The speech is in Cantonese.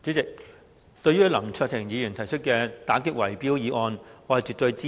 代理主席，對於林卓廷議員提出的打擊圍標議案，我絕對支持。